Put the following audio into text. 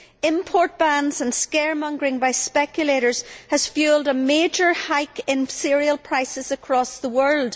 Import bans and scaremongering by speculators have fuelled a major hike in cereal prices across the world